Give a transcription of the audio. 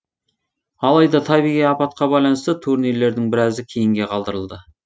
алайда табиғи апатқа байланысты турнирлердің біразы кейінге қалдырылды